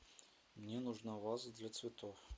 мне нужна ваза для цветов